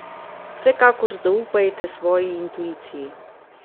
Vsekakor zaupajte svoji intuiciji.